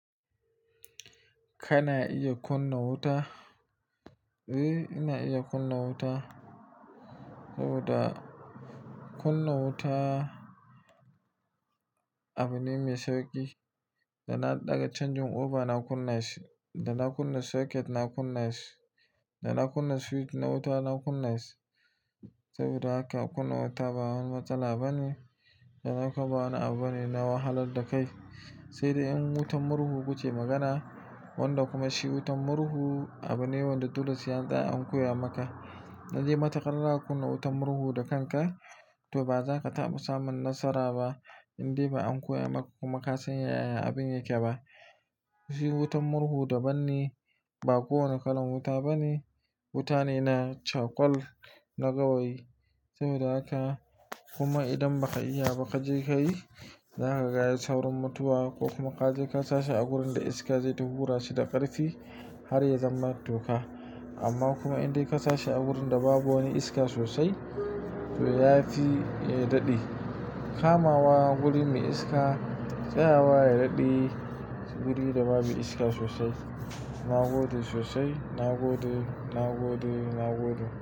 Kana iya kunna wuta? Eh, ina iya kunna wuta saboda kunna wuta abu ne mai sauƙi. Da na ɗaga canjin oba na kunna shi, da na kunna socket na kunna shi, da na kunna switch na wuta na kunna shi. Saboda haka kunna wuta ba wani matsala bane, da haka ba wani abu ne na wahalar da kai. Sai dai in wutar murhu ku ce magana, wanda kuma shi wutar murhu abu ne wanda dole sai an koya maka. Dan idan matuƙarzaka kunna wutar murhu da kanka to ba za ka taɓa samun nasara ba, indai ba an koya maka kuma ka sanyaya abin yake ba. Shi wutar murhu daban ne, ba kowane kalan wuta bane. Wuta ne na cakwal na gawayi sabida haka kuma idan baka iya ba ka je ka yi, za ka gaya saurin mutuwa ko kuma ka je ka sashi a wurinda iska zai tafi hura shi da ƙarfi har ya zama toka. Amma kuma idai ka sashi a wurin da babu wani iska sosai to ya fiya daɗe. Kamawa wuri mai iska tsayawa ya daɗe guri da babu iska sosai. Na gode sosai, na gode, na gode, na gode.